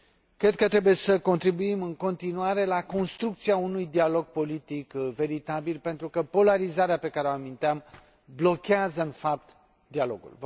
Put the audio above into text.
Cred că trebuie să contribuim în continuare la construcția unui dialog politic veritabil, pentru că polarizarea pe care o aminteam blochează în fapt dialogul.